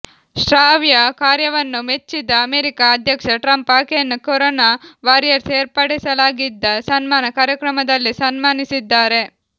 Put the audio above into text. ಶ್ರಾವ್ಯ ಕಾರ್ಯವನ್ನು ಮೆಚ್ಚಿದ ಅಮೆರಿಕ ಅಧ್ಯಕ್ಷ ಟ್ರಂಪ್ ಆಕೆಯನ್ನು ಕೊರೋನಾ ವಾರಿಯರ್ಸ್ ಏರ್ಪಡಿಸಲಾಗಿದ್ದ ಸನ್ಮಾನ ಕಾರ್ಯಕ್ರಮದಲ್ಲೇ ಸನ್ಮಾನಿಸಿದ್ದಾರೆ